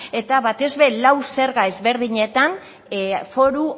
eta batez ere lau zerga ezberdinetan foru